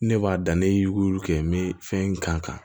Ne b'a dan ne y'u kɛ n bɛ fɛn in kan